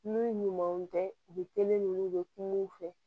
N'u ɲumanw tɛ u bɛ teli u bɛ kuma u fɛ